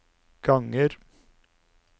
ganger